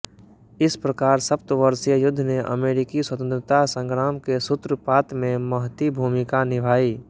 इस प्रकार सप्तवर्षीय युद्ध ने अमेरिकी स्वतंत्रता संग्राम के सूत्रपात में महती भूमिका निभाई